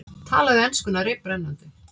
Talaði enskuna reiprennandi.